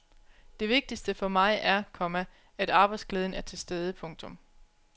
Det vigtigste for mig er, komma at arbejdsglæden er til stede. punktum